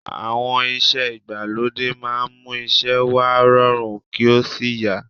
Àwọn irinṣẹ́ ìgbàlódé máa ń mú iṣẹ́ wa rọrùn kí ò sí yá